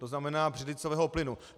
To znamená břidlicového plynu.